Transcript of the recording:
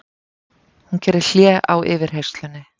Hún gerir hlé á yfirheyrslunni.